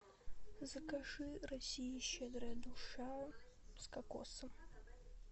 закажи россия щедрая душа с кокосом